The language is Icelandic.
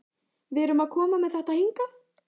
Við erum að koma með þetta hingað?